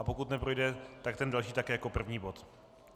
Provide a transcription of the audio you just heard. A pokud neprojde, tak ten další také jako první bod.